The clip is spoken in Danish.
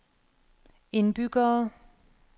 indbyggere